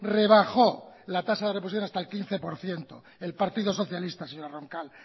rebajó la tasa de reposición hasta el quince por ciento el partido socialista señora roncal